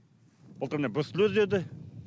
былтыр міне бруцеллез деді